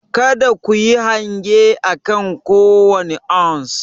Kada ku yi hange akan kowane ounce.